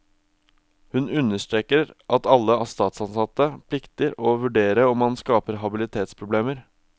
Hun understreker at alle statsansatte plikter å vurdere om han skaper habilitetsproblemer.